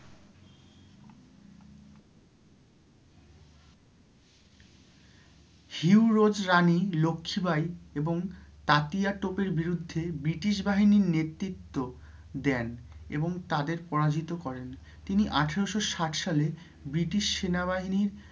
Hugh Rose Rani Lakshmi Bai এবং তাঁতিয়া তোপের বিরুদ্ধে British বাহিনীর নেতৃত্ব দেন এবং তাদের পরাজিত করেন, তিনি আঠেরোশো ষাট সালে British সেনা বাহিনীর